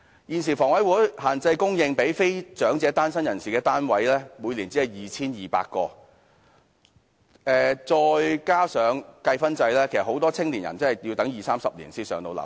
現時房委會供應給非長者單身人士的單位，每年只有 2,200 個，加上計分制，很多青年人真的要等二三十年才能"上樓"。